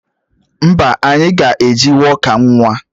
Mba, anyị ga-eji wọka nwa